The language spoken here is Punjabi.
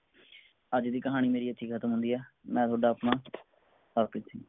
ਅੱਜ ਦੀ ਕਹਾਣੀ ਮੇਰੀ ਇਥੇ ਹੀ ਖਤਮ ਹੁੰਦੀ ਹੈ ਮੈਂ ਥੋਡਾ ਅਪਣਾ ਹਰਪ੍ਰੀਤ ਸਿੰਘ